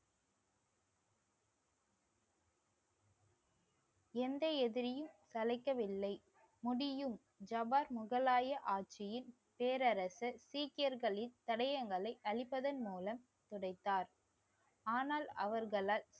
எந்த எதிரியும் சளைக்கவில்லை. முடியும் ஜபார் முகலாய ஆட்சியின் பேரரசர் சீக்கியர்களின் தடயங்களை அழிப்பதன் மூலம் துடைத்தார் ஆனால் அவர்களால்